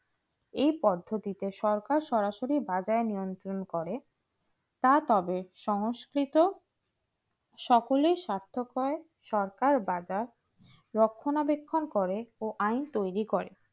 এই পদ্ধতিতে সরকার সরাসরি বাজার নিয়ন্ত্রিত করে তা তবে সংস্কৃত সকলের স্বার্থ সরকার বাজার রক্ষণাবেক্ষণ করে ও আইন তৈরি করে